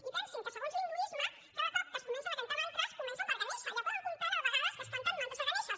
i pensin que segons l’hinduisme cada cop que es comencen a cantar mantres comencen per ganeixa ja poden comptar la de vegades que es canten mantres a ganeixa